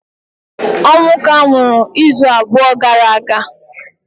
Onwuka nwụrụ izu abụọ gara aga